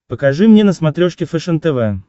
покажи мне на смотрешке фэшен тв